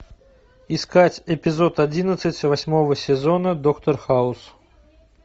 искать эпизод одиннадцать восьмого сезона доктор хаус